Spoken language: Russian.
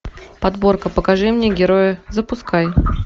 подборка покажи мне героя запускай